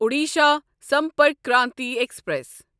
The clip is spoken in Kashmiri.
اوڈیشا سمپرک کرانتی ایکسپریس